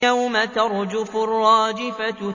يَوْمَ تَرْجُفُ الرَّاجِفَةُ